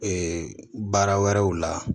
baara wɛrɛw la